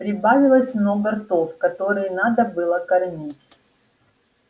прибавилось много ртов которые надо было кормить